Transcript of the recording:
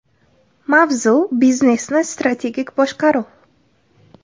Mavzu: Biznesni strategik boshqaruv.